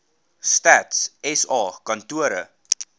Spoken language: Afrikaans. stats sa kantore